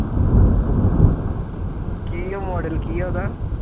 ਕੀ ਹੈ model ਕੀ ਹੈ ਉਹਦਾ